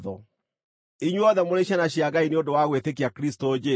Inyuothe mũrĩ ciana cia Ngai nĩ ũndũ wa gwĩtĩkia Kristũ Jesũ,